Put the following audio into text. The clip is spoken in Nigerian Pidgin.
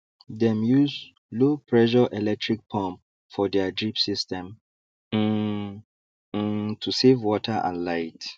dem use lowpressure electric pump for their drip system um um to save water and light